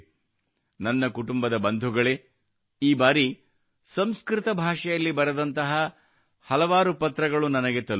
ನನ್ನ ಕುಟುಂಬದ ಬಂಧುಗಳೇ ಈ ಬಾರಿ ಸಂಸ್ಕೃತ ಭಾಷೆಯಲ್ಲಿ ಬರೆದಂತಹ ನನಗೆ ಹಲವಾರು ಪತ್ರಗಳು ನನಗೆ ತಲುಪಿವೆ